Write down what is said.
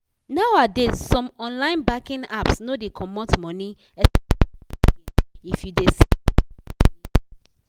nowadays some online banking apps no dey comot money sms fee again if you dey send small money